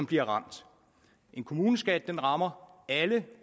bliver ramt kommuneskatten rammer alle